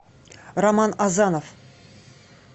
роман азанов